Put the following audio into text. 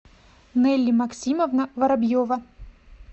нелли максимовна воробьева